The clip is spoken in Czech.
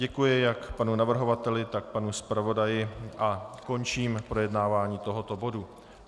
Děkuji jak panu navrhovateli, tak panu zpravodaji a končím projednávání tohoto bodu.